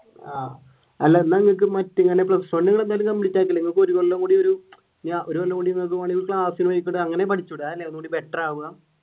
ആഹ് അല്ല എന്നാലും നിനക്ക് മറ്റേ ഇങ്ങനെ plus one എന്തായാലും complete ആക്കീലെ